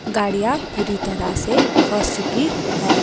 गाड़ियां पूरी तरह से फंस चुकी है।